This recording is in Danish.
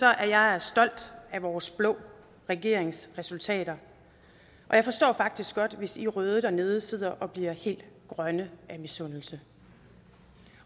jeg stolt af vores blå regerings resultater og jeg forstår faktisk godt hvis i røde dernede sidder og bliver helt grønne af misundelse